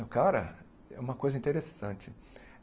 O cara é uma coisa interessante.